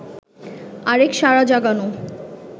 আরেক সাড়া জাগানো